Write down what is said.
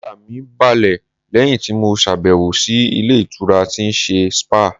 Ara mi balẹ̀ lẹ́yìn tí mo ṣàbẹ̀wò sí ilé ìtura tí ń ṣe spáà.